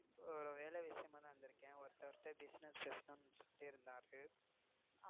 ஒரு வேல விஷயமா தான் வந்திருக்கேன். ஒருத்தர் Business பேசணும்னு சொலிட்டேயே இருந்தாரு.